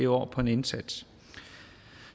år på en indsats